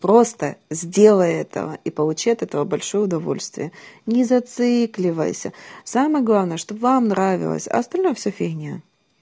просто сделай этого и получи от этого большое удовольствие не зацикливайся самое главное чтоб вам нравилось остальное все фигня